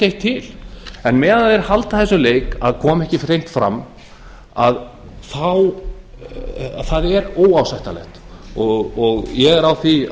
eitt til en meðan þeir halda þessum leik að koma ekki hreint fram það er óásættanlegt ég er á því